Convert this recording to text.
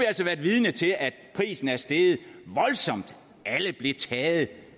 altså været vidne til at prisen er steget voldsomt alle blev taget